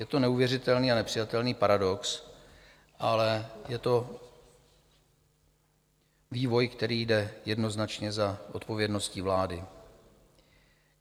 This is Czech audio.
Je to neuvěřitelný a nepřijatelný paradox, ale je to vývoj, který jde jednoznačně za odpovědností vlády.